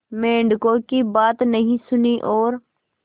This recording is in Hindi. मेंढकों की बात नहीं सुनी और